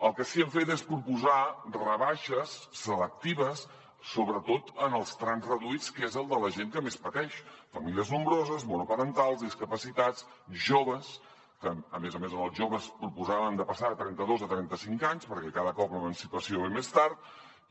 el que sí que hem fet és proposar rebaixes selectives sobretot en els trams reduïts que és el de la gent que més pateix famílies nombroses monoparentals discapacitats joves que a més a més en els joves proposàvem de passar de trenta dos a trenta cinc anys perquè cada cop l’emancipació ve més tard